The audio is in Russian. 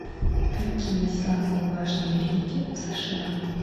какие самые важные реки в сша